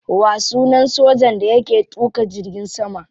Wa sunan sojan da yake tuka jirgin sama?